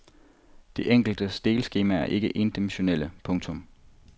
De enkelte delskemaer er ikke endimensionale. punktum